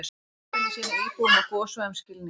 Bankarnir sýni íbúum á gossvæðum skilning